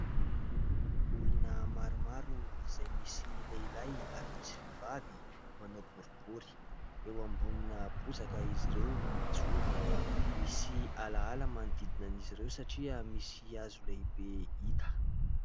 Olona maromaro izay misy lehilahy ary misy vehivavy manao boribory. Eo ambonina bozaka izy ireo no mijoro. Misy ala ala manodidina an'izy ireo satria misy hazo lehibe hita.